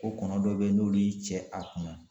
Ko kɔnɔ dɔ be yen n'olu y'i cɛ a kunna